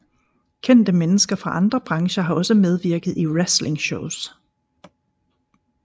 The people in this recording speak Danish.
Kendte mennesker fra andre brancher har også medvirket i wrestlingshows